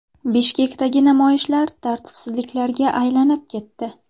Bishkekdagi namoyishlar tartibsizliklarga aylanib ketdi.